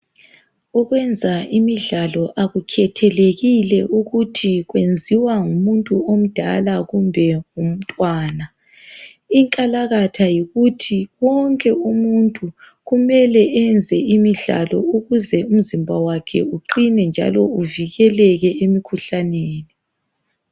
Ukwenza imidlalo akukhethelekile ukuthi kwenziwa ngumuntu omdala kumbe ngumntwana. Inkalakatha yikuthi wonke umuntu kumele enze imidlalo ukuze umzimba wakhe uqine njalo uvikeleke emikhuhlaneni.